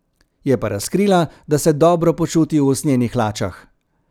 Je pa razkrila, da se dobro počuti v usnjenih hlačah.